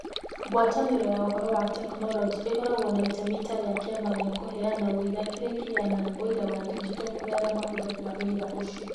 Ngwatanĩro ya Ũhoro na Teknoroji ĩkoragwo na itemi ta rĩa kĩama gĩa kũheana ũira kĩrĩa kĩheanaga ũira wa digito kũrĩ arĩa mahũthagĩra ũira ũcio.